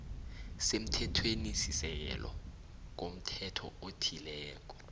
semthethwenisisekelo komthetho othileko